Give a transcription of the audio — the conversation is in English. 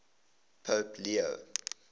pope leo